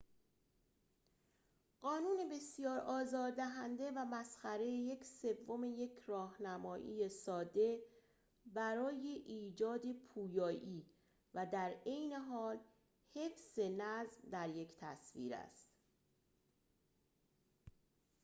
قانون بسیار آزار دهنده و مسخره یک سوم یک راهنمایی ساده برای ایجاد پویایی و در عین حال حفظ نظم در یک تصویر است